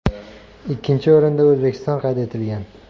Ikkinchi o‘rinda O‘zbekiston qayd etilgan.